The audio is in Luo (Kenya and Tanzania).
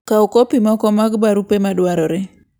Kaw kopi moko mag barupe madwarore.